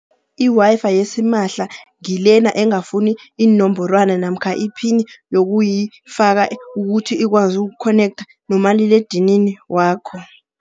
I-Wi-Fi yasimahla ngilena engafuni iinomborwana namkha iphini, yokuyifaka ukuthi ikwazi ukhonektha nomaliledinini wakho.